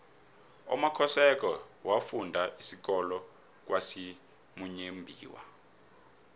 umakhosoke wafunda isikolo kwasimuyembiwa